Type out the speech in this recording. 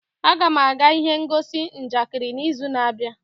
Aga m aga ihe ngosi njakịrị n'izu na-abịa.